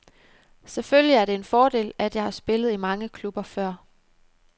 Selvfølgelig er det en fordel, at jeg har spillet i mange klubber før.